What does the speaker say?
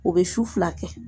O bɛ su fila kɛ.